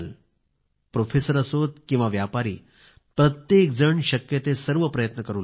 professor असो किंवा व्यापारी प्रत्येक जण शक्य ते सर्व प्रयत्न करू लागला